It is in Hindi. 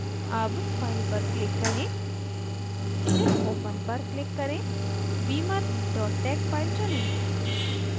अब file पर click करें फिर open पर click करें beamer tex file चुनें